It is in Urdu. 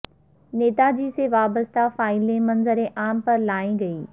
نیتاجی سے وابستہ فائلیں منظر عام پر لائی گئیں